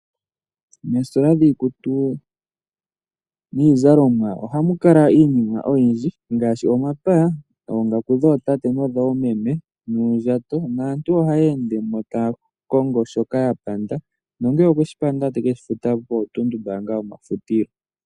Moositola dhiikutu niizalomwa ohamu kala iinima oyindji ngaashi omapaya, oongaku dhootate nodhoomeme nuundjato naantu ohaya ende mo taya kongo shoka ya panda, nongele okwe shi panda taye ke shi futa pootunumbaanga dhomafutilo.